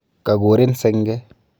Kakuurin senge